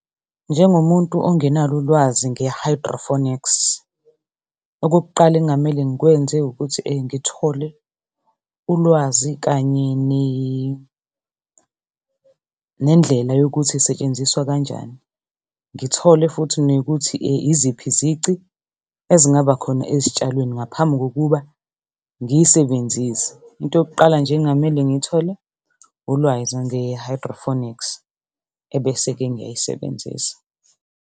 Njengomuntu ongenalo ulwazi nge-hydroponics okokuqala ekungamele ngikwenze ukuthi ngithole ulwazi kanye nendlela yokuthi isetshenziswa kanjani. Ngithole futhi nekuthi iziphi izici ezingaba khona ezitshalweni ngaphambi kokuba ngiyisebenzise. Into yokuqala nje engamele ngiyithole ulwazi nge-hydroponics, ebese-ke ngiyayisebenzisa.